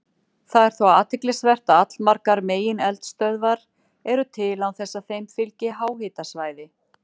Það er þó athyglisvert að allmargar megineldstöðvar eru til án þess að þeim fylgi háhitasvæði.